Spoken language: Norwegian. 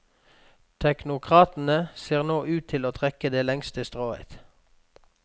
Teknokratene ser nå ut til å trekke det lengste strået.